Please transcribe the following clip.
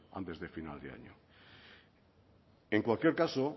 antes de final de año en cualquier caso